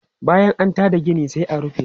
Bayan an ta da gina sai a rufe.